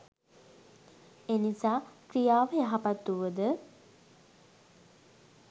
එනිසා ක්‍රියාව යහපත් වුවද